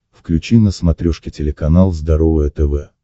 включи на смотрешке телеканал здоровое тв